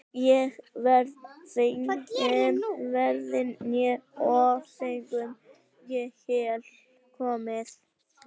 Ekki verður feigum forðað né ófeigum í hel komið.